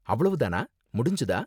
அவ்வளவு தானா, முடிஞ்சுதா?